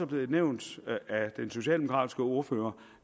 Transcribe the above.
blevet nævnt af den socialdemokratiske ordfører